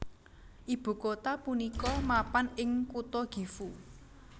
Ibu kota punika mapan ing kutha Gifu